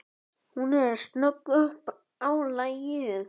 Hún er snögg upp á lagið.